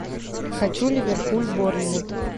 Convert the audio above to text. хочу ливерпуль борнмут